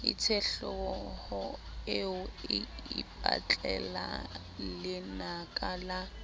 itsehlooho eo e ipatlelalenaka la